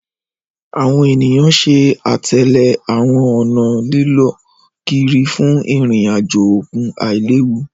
Àwọn eniyan ṣe atẹle àwọn ọna lilọ kiri fun irin-ajo okun ailewu